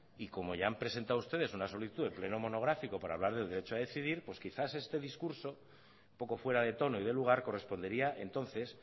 y como ya han presentado ustedes una solicitud de pleno monográfico para hablar del derecho a decidir pues quizás este discurso un poco fuera de tono y de lugar correspondería entonces